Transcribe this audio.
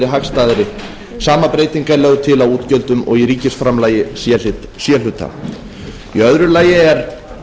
hagstæðari sama breyting er lögð til á ríkisútgjöldum og í ríkisframlagi c hluta í öðru lagi er